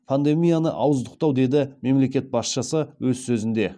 пандемияны ауыздықтау деді мемлекет басшысы өз сөзінде